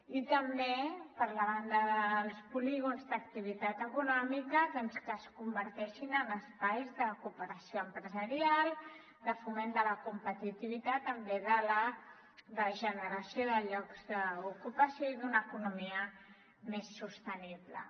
i també per la banda dels polígons d’activitat econòmica doncs que es converteixin en espais de cooperació empresarial de foment de la competitivitat en bé de la generació de llocs d’ocupació i d’una economia més sostenible